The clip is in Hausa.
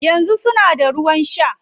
Yanzu suna da ruwan shaa